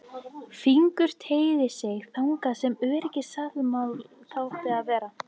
Fingur teygði sig þangað sem öryggislásinn átti að vera.